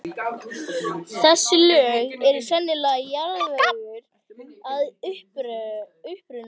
Þessi lög eru sennilega jarðvegur að uppruna.